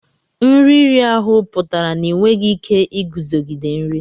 Nri iri ahụ pụtara na ị nweghị ike iguzogide nri.